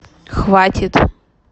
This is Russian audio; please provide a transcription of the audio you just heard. хватит